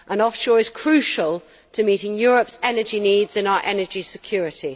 Offshore is crucial to meeting Europe's energy needs and its energy security.